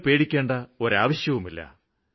നിങ്ങള്ക്ക് പേടിക്കേണ്ട ഒരാവശ്യവുമില്ല